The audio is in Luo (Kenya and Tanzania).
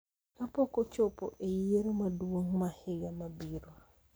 kapok ochopo e Yiero Maduong� ma higa mabiro.